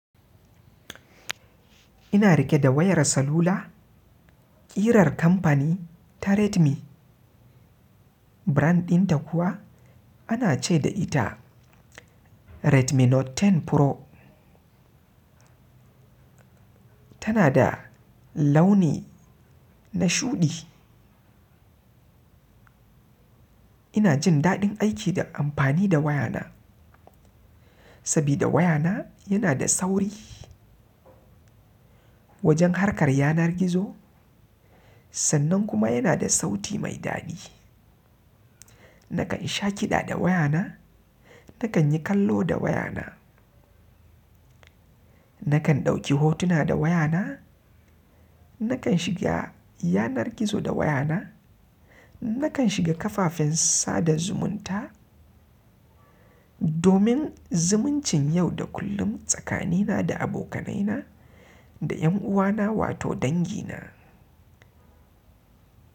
Ina riƙe da wayar salula, ƙirar kamfani ta Redmi. Brand ɗinta kuwa ana ce da ita Redmi Note 10 Pro. Tana da launi na shuɗi. Ina jin daɗin aiki da amfani da wayana sabida wayana yana da sauri wajen harkar yanar gizo. Sannan kuma yana da sauti mai daɗi. Nakan sha ƙiɗa da wayana, nakan yi kallo da wayana, nakan ɗauki hotuna da wayana, nakan shiga yanar gizo da wayana, nakan shiga kafafen sada zumunta. Domin zumuncin yau da kullum tsakanina da abokanaina da ƴan uwana wato dangi na.